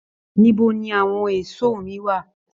Níbo ní àwọn èso mi wá?